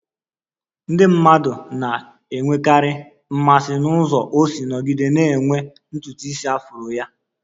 Ndị mmadụ na-enwekarị mmasị n'ụzọ o si nọgide na-enwe ntutu isi afro ya